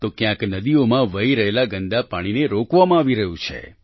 તો ક્યાંક નદીઓમાં વહી રહેલા ગંદા પાણીને રોકવામાં આવી રહ્યું છે